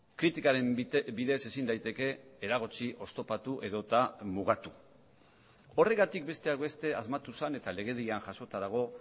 kritikaren bidez ezin daiteke eragotzi oztopatu edota mugatu horregatik besteak beste asmatu zen eta legedian jasota dago